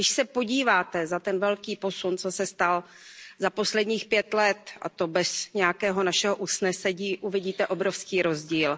Když se na ten velký posun, co se stal za posledních pět let, a to bez nějakého našeho usnesení, podíváte, uvidíte obrovský rozdíl.